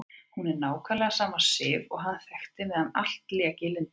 Hún er nákvæmlega sama Sif og hann þekkti meðan allt lék í lyndi.